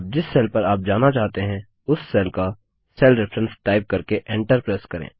अब जिस सेल पर आप जाना चाहते हैं उस सेल का सेल रेफरेंस टाइप करके एन्टर प्रेस करें